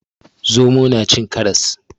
Zomo na cin karras.